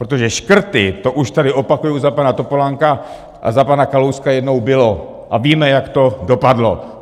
Protože škrty, to už tady, opakuji, za pana Topolánka a za pana Kalouska jednou bylo a víme, jak to dopadlo!